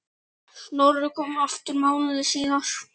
Snorri kom aftur mánuði síðar.